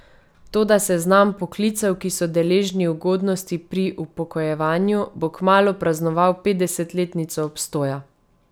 Toda seznam poklicev, ki so deležni ugodnosti pri upokojevanju, bo kmalu praznoval petdesetletnico obstoja.